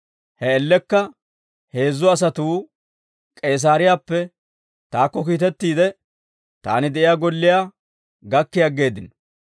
He man''iyaan heezzu asatuu K'iisaariyaappe taakko kiitettiide, taani de'iyaa golliyaa gakki aggeeddino.